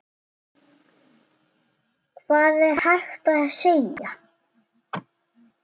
Hvað er hægt að segja.